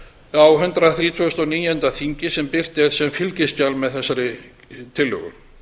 á hundrað þrítugasta og níunda þingi sem birt er sem fylgiskjal með þessari tillögu